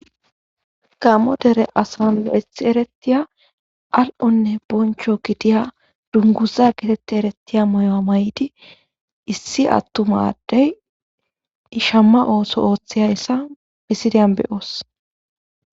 gammo dere asan lo7ethi eretiya al7onne boncho gidiya dunguza getetti erettiya moyoa may7di issi attumaddey ishamma ooso ooththiyayssa bisidiyan beyoos